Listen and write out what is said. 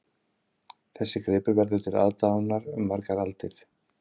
Þessi gripur verður til aðdáunar um margar aldir